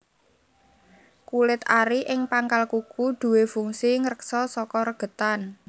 Kulit ari ing pangkal kuku duwé fungsi ngreksa saka regetan